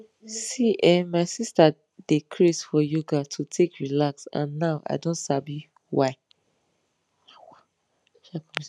see[um]my sister dey craze for yoga to take relax and now i don sabi why